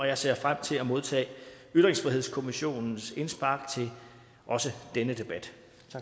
jeg ser frem til at modtage ytringsfrihedskommissionens indspark til også denne debat